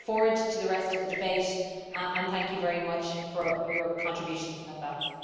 I look forward to the rest of the debate and thank you very much for your contributions in advance.